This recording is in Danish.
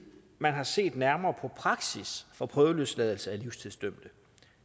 man har set nærmere på praksis for prøveløsladelse af livstidsdømte